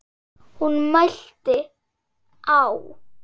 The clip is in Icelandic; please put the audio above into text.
Hún mælti: Á